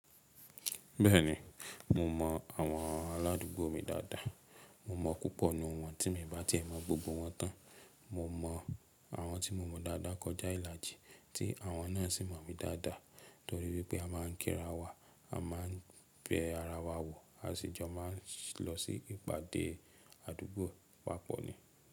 Bẹ́ẹ̀ni, mo mọ àwọn aládùúgbò mi dáadáa. Mo mọ̀ púpọ̀ ní wọn, tí mi bà tí è mọ̀ gbogbo wọn tán. Mo mọ àwọn tí mo mọ̀ dáadáa kọjá ìlàjì, tí àwọn náà sì mọ̀ mi dáadáa torí wípé a má ń kíra wa, a má ń bẹ ara wa wò, a sì jọ má ń lọ sí ìpàdé àdúgbò papọ̀ ni.